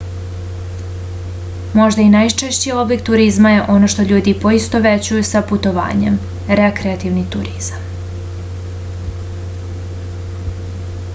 možda i najčešći oblik turizma je ono što ljudi poistovećuju sa putovanjem rekreativni turizam